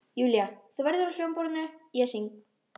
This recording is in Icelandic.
Júlía, þú verður á hljómborðinu, ég syng.